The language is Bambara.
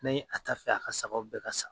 Ni a t'a fɛ a ka sagaw bɛɛ ka sa.